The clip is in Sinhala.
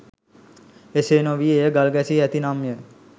එසේ නොවී එය ගල් ගැසී ඇතිනම්ය.